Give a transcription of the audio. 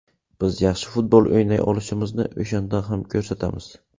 Biz yaxshi futbol o‘ynay olishimizni o‘shanda ham ko‘rsatamiz.